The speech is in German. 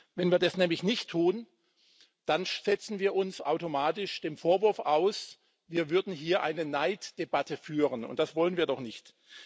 Wenn wir das nämlich nicht tun, dann setzen wir uns automatisch dem Vorwurf aus, wir würden hier eine Neiddebatte führen, und das wollen wir doch nicht.